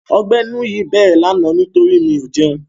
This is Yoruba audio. Ọgbẹ́ inú yìí bẹ̀rẹ̀ lánàá nítorí mi ò jẹun.